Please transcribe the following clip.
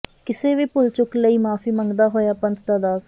ਕਿਸੇ ਵੀ ਭੁੱਲ ਚੁੱਕ ਲਈ ਮਾਫ਼ੀ ਮੰਗਦਾ ਹੋਇਆ ਪੰਥ ਦਾ ਦਾਸ